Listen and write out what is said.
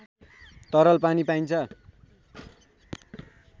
तरल पानी पाइन्छ